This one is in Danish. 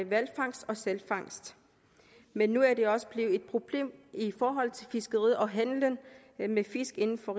hvalfangst og sælfangst men nu er det også blevet et problem i forhold til fiskeriet og handelen med fisk inden for